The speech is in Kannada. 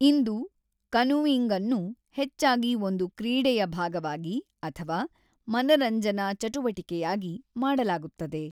ಇಂದು ಕನೂಯಿಂಗ್ಅನ್ನು ಹೆಚ್ಚಾಗಿ ಒಂದು ಕ್ರೀಡೆಯ ಭಾಗವಾಗಿ ಅಥವಾ ಮನರಂಜನಾ ಚಟುವಟಿಕೆಯಾಗಿ ಮಾಡಲಾಗುತ್ತದೆ.